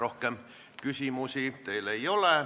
Rohkem küsimusi teile ei ole.